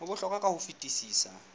ho bohlokwa ka ho fetisisa